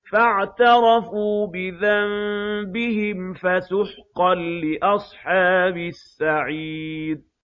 فَاعْتَرَفُوا بِذَنبِهِمْ فَسُحْقًا لِّأَصْحَابِ السَّعِيرِ